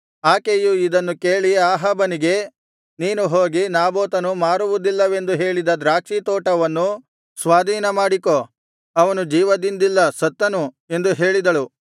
ಆಕೆಯು ಇದನ್ನು ಕೇಳಿ ಅಹಾಬನಿಗೆ ನೀನು ಹೋಗಿ ನಾಬೋತನು ಮಾರುವುದಿಲ್ಲವೆಂದು ಹೇಳಿದ ದ್ರಾಕ್ಷಿ ತೋಟವನ್ನು ಸ್ವಾಧೀನ ಮಾಡಿಕೋ ಅವನು ಜೀವದಿಂದಿಲ್ಲ ಸತ್ತನು ಎಂದು ಹೇಳಿದಳು